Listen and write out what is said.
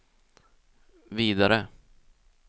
vidare